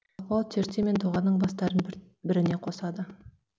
құлақбау терте мен доғаның бастарын бір біріне қосады